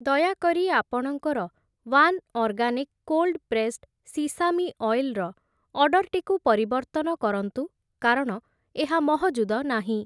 ଦୟାକରି ଆପଣଙ୍କର one organic cold pressed sesame oil ର ଅର୍ଡ଼ର୍‌ଟିକୁ ପରିବର୍ତ୍ତନ କରନ୍ତୁ କାରଣ ଏହା ମହଜୁଦ ନାହିଁ ।